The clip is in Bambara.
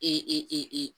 E